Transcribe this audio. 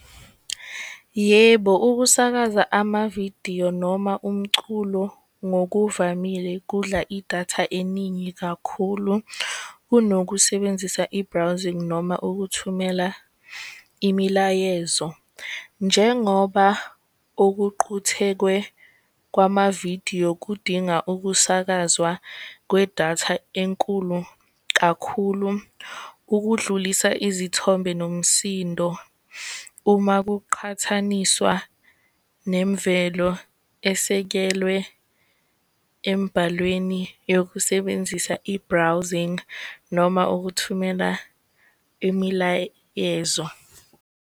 Yebo, ukusakaza amavidiyo noma umculo ngokuvamile kudla idatha eningi kakhulu kunokusebenzisa i-browsing, noma ukuthumela imilayezo. Njengoba kwamavidiyo kudinga ukusakazwa kwedata enkulu kakhulu ukudlulisa izithombe nomsindo, uma kuqhathaniswa nemvelo esekelwe embhalweni yokusebenzisa i-browsing, noma ukuthumela imilayezo.